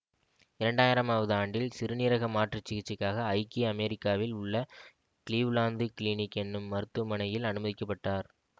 இரண்டு ஆயிரமாவது ஆண்டில் சிறுநீரக மாற்றுச் சிகிச்சைக்காக ஐக்கிய அமெரிக்காவில் உள்ள கிளீவ்லாந்து கிளினிக் என்னும் மருத்துவமனையில் அனுமதிக்க பட்டார்